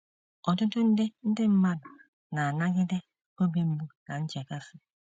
Ọtụtụ nde ndị mmadụ na - anagide obi mgbu na nchekasị.